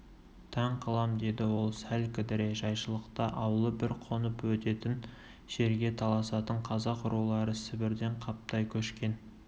таң қалам деді ол сәл кідіре жайшылықта аулы бір қонып өтетін жерге таласатын қазақ рулары сібірден қаптай көшкен